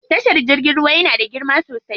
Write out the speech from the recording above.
Tashar jirgin ruwa yana da girma sosai.